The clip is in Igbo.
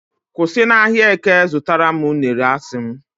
kwụsị na ahịa eke zụtara m unere, a sị m